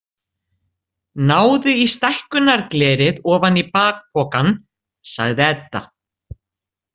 Náðu í stækkunarglerið ofan í bakpokann, sagði Edda.